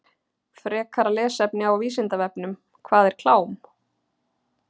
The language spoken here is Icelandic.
Frekara lesefni á Vísindavefnum: Hvað er klám?